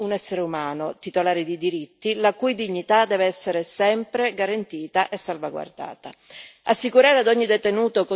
Il detenuto è prima di tutto un essere umano, titolare di diritti, la cui dignità deve essere sempre garantita e salvaguardata.